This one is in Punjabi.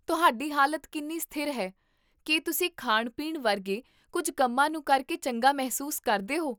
ਤੁਹਾਡੀ ਹਾਲਤ ਕਿੰਨੀ ਸਥਿਰ ਹੈ, ਕੀ ਤੁਸੀਂ ਖਾਣ ਪੀਣ ਵਰਗੇ ਕੁੱਝ ਕੰਮਾਂ ਨੂੰ ਕਰਕੇ ਚੰਗਾ ਮਹਿਸੂਸ ਕਰਦੇ ਹੋ?